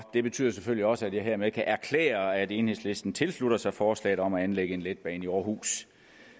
det betyder selvfølgelig også at jeg hermed kan erklære at enhedslisten tilslutter sig forslaget om at anlægge en letbane i aarhus